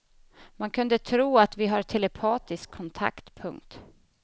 Man kunde tro att vi har telepatisk kontakt. punkt